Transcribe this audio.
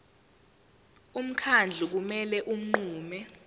umkhandlu kumele unqume